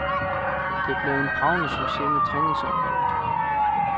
Det blev en bragende succes med træningsopholdet.